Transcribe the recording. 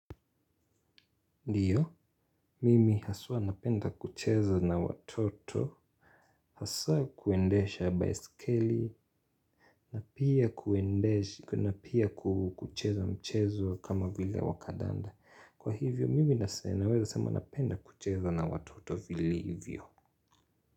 Ndiyo, mimi haswa napenda kucheza na watoto, hasa kuendesha baisikeli, na pia kuendesha na pia kucheza mchezo kama vile wa kadanda. Kwa hivyo, mimi naweza sema napenda kucheza na watoto vilivyo.